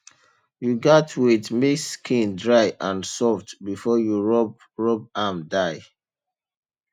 you gatz wait make skin dry and soft before you rub rub am dye